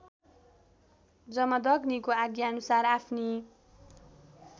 जमदग्नीको आज्ञाअनुसार आफ्नी